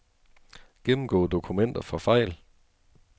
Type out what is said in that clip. Gennemgå dokumenter for fejl.